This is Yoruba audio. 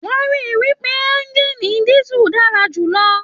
Wọn rí wípé ẹ̀ngiini disu dára jùlọ.